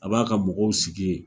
A b'a ka mɔgɔw sigi yen